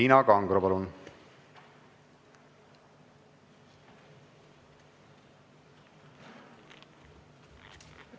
Tiina Kangro, palun!